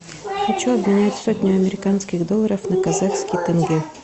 хочу обменять сотню американских долларов на казахский тенге